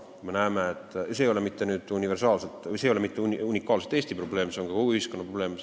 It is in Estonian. See ei ole mitte unikaalselt Eesti probleem, see on kõikide ühiskondade probleem.